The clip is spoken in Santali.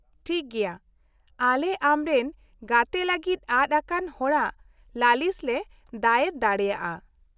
-ᱴᱷᱤᱠ ᱜᱮᱭᱟ, ᱟᱞᱮ ᱟᱢᱨᱮᱱ ᱜᱛᱮ ᱞᱟᱹᱜᱤᱫ ᱟᱫ ᱟᱠᱟᱱ ᱦᱚᱲᱟᱜ ᱞᱟᱹᱞᱤᱥ ᱞᱮ ᱫᱟᱭᱮᱨ ᱫᱟᱲᱮᱭᱟᱜᱼᱟ ᱾